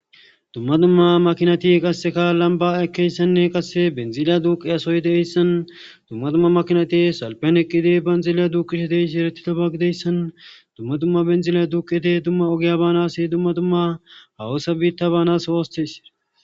Dumma dumma makinati qasika lamba ekiyaysinne qasika benziliya duuqiyasoy de'iyayssan dumma dumma makinati salfen eqqidi benziliya duuqidishe dizayssi eretidoba gidizayssan dumma dimma benziliya duuqidi dumma ogiya baanas dumma dumma hahoso biita baanas.